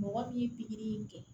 Mɔgɔ min ye pikiri in kɛ